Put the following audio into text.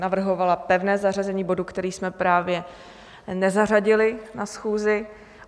Navrhovala pevné zařazení bodu, který jsme právě nezařadili na schůzi.